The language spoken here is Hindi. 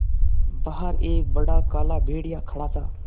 बाहर एक बड़ा काला भेड़िया खड़ा था